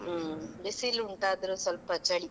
ಹ್ಮ್, ಬಿಸಿಲು ಉಂಟು ಆದ್ರೂ ಸ್ವಲ್ಪ ಚಳಿ.